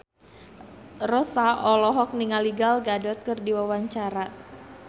Rossa olohok ningali Gal Gadot keur diwawancara